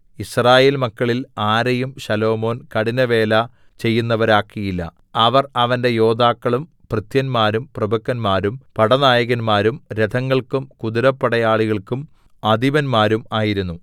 യിസ്രായേൽ മക്കളിൽ ആരെയും ശലോമോൻ കഠിനവേല ചെയ്യുന്നവരാക്കിയില്ല അവർ അവന്റെ യോദ്ധാക്കളും ഭൃത്യന്മാരും പ്രഭുക്കന്മാരും പടനായകന്മാരും രഥങ്ങൾക്കും കുതിരപ്പടയാളികൾക്കും അധിപതിമാരും ആയിരുന്നു